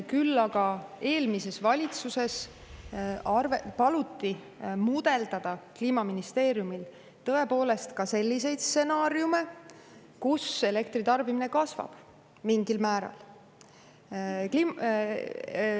Küll aga eelmises valitsuses paluti Kliimaministeeriumil tõepoolest mudeldada ka selliseid stsenaariume, mille kohaselt elektritarbimine kasvab mingil määral.